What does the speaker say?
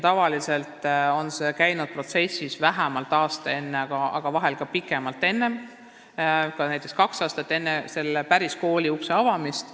Tavaliselt on käinud see protsess vähemalt aasta enne, aga vahel ka kauem, näiteks kaks aastat enne selle kooli uste päris avamist.